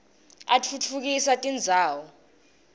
atfutfukisa tindzawo